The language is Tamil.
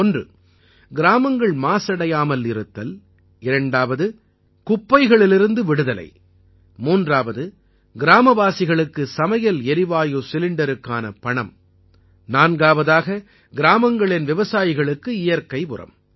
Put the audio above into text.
ஒன்று கிராமங்கள் மாசடையாமல் இருத்தல் இரண்டாவது குப்பைகளிலிருந்து விடுதலை மூன்றாவது கிராமவாசிகளுக்கு சமையல் எரிவாயு சிலிண்டருக்கான பணம் நான்காவதாக கிராமங்களின் விவசாயிகளுக்கு இயற்கை உரம்